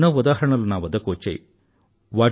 అలాంటి ఎన్నో ఉదాహరణలు నా వద్దకు వచ్చాయి